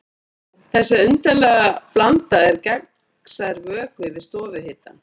Þessi undarlega blanda er gegnsær vökvi við stofuhita.